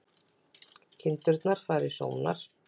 Kindur fara í sónar